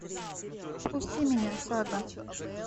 впусти меня сага